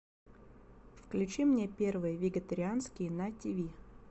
включи мне первый вегетарианский на тв